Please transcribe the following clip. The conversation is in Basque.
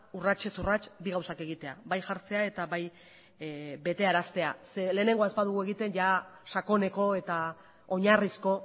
urratsez urrats bi gauzak egitea bai jartzea eta bai betearaztea zeren lehenengoa ez badugu egiten jada sakoneko eta oinarrizko